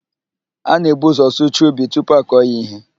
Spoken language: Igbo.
A na-ebu ụzọ sụchaa ubi tupu akọọ ya ihe.